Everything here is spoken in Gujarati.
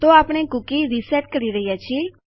તો આપણે કૂકી રીસેટ કરી રહ્યા છીએ